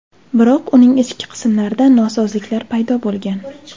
Biroq uning ichki qismlarida nosozliklar paydo bo‘lgan.